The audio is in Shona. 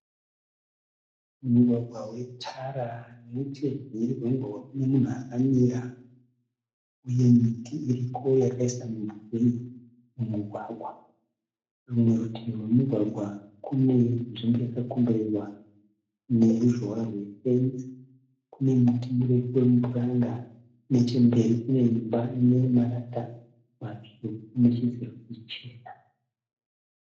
Mugwagwa wetara. Nechemhiri kwemugwagwa kune munhu akamira uye miti iriko yakaisa mimvuri mumugwagwa. Rimwe rutivi rwemugwagwa kune nzvimbo yakakomberedzwa neruzhowa rwe fenzi. Kune muti mirefu womupuranga. Nechemberi kune imba yemarata matsvuku nechidziro chichena.